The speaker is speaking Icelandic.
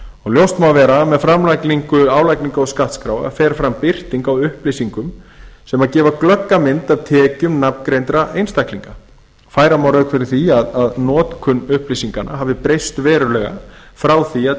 ljóst má vera að með framlagningu álagningar og skattskráa fer fram birting á upplýsingum sem gefa glögga mynd af tekjum nafngreindra einstaklinga færa má rök fyrir því að notkun upplýsinganna hafi breyst verulega frá því að